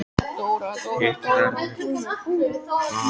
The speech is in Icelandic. Hitt verður bara að koma í ljós seinna.